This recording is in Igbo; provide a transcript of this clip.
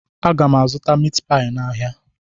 Aga m azụta mitpai n'ahia